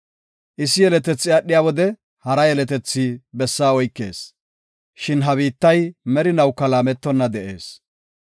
Issi yeletethi aadhiya wode, hara yeletethi bessaa oykees. Shin ha biittay merinawuka laametonna de7ees.